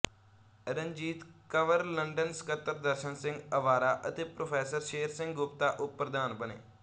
Ranjit Kanwar London ਸਕੱਤਰ ਦਰਸ਼ਨ ਸਿੰਘ ਅਵਾਰਾ ਅਤੇ prof Sher Singh Gupta ਉਪ ਪ੍ਰਧਾਨ ਬਣੇ